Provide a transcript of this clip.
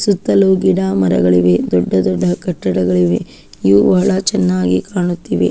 ಸುತ್ತಲೂ ಗಿಡ ಮರಗಳಿವೆ ದೊಡ್ಡ ದೊಡ್ಡ ಕಟ್ಟಡಗಳಿವೆ ಇವು ಬಹಳ ಚೆನ್ನಾಗಿ ಕಾಣುತಿದೆ.